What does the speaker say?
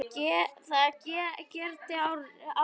Það gerði Árný.